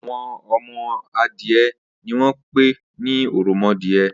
Awọn ọmọ adiẹ niwọn pé ni òròmọadiẹ